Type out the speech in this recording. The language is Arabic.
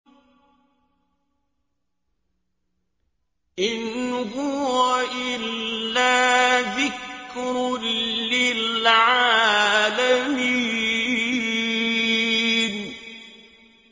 إِنْ هُوَ إِلَّا ذِكْرٌ لِّلْعَالَمِينَ